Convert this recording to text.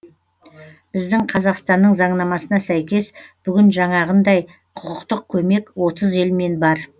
біздің қазақстанның заңнамасына сәйкес бүгін жаңағындай құқықтық көмек отыз елмен бар